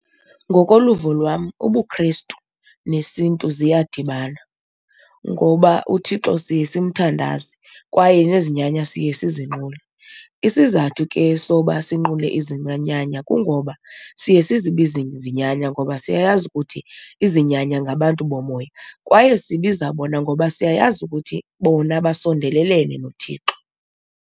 Ngokoluvo lwam ubuKhrestu nesiNtu ziyadibana ngoba uThixo siye simthandaze kwaye nezinyanya siye sizinqule. Isizathu ke soba sinqule izinyanya kungoba siye sizibize izinyanya ngoba siyayazi ukuthi izinyanya ngabantu bomoya kwaye sibiza bona ngoba siyayazi ukuthi bona basondelelene noThixo.